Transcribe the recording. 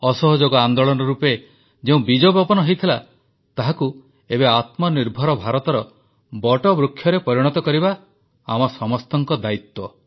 ଅସହଯୋଗ ଆନ୍ଦୋଳନ ରୂପେ ଯେଉଁ ବୀଜବପନ ହୋଇଥିଲା ତାହାକୁ ଏବେ ଆତ୍ମନିର୍ଭର ଭାରତର ବଟବୃକ୍ଷରେ ପରିଣତ କରିବା ଆମ ସମସ୍ତଙ୍କ ଦାୟିତ୍ୱ